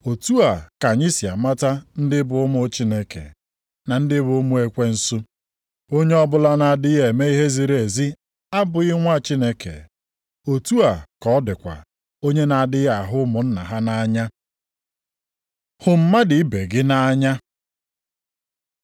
Otu a ka anyị si amata ndị bụ ụmụ Chineke, na ndị bụ ụmụ ekwensu: Onye ọbụla na-adịghị eme ihe ziri ezi abụghị nwa Chineke, otu a ka ọ dịkwa onye na-adịghị ahụ ụmụnna ha nʼanya. Hụ mmadụ ibe gị nʼanya